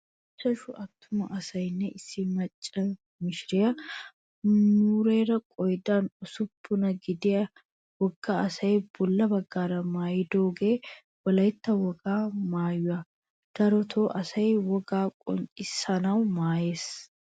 Ichchashu attuma asayinne issi macca mishiriyaa mumeera qoodan usuppunaa gidiya wogga asayi bolla baggaara maayyidoogee wolayitta wogaa maayuwaa. Daroto asayi wogaa qoncciyoosan maayyes.